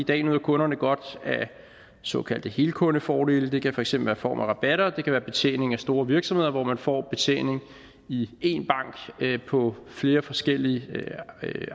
i dag nyder kunderne godt af såkaldte helkundefordele det kan for eksempel være i form af rabatter og det kan være betjening af store virksomheder hvor man får betjening i én bank på flere forskellige